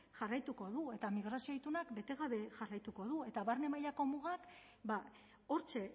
jarraituko du eta migrazioa itunak bete gabe jarraituko du eta barne mailako mugak hortxe